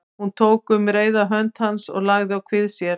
Tók hún um reyrða hönd hans og lagði að kvið sér.